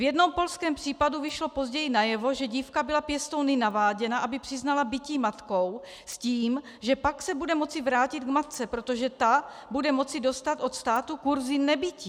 V jednom polském případu vyšlo později najevo, že dívka byla pěstouny naváděna, aby přiznala bití matkou s tím, že pak se bude moci vrátit k matce, protože ta bude moci dostat od státu kurzy nebití.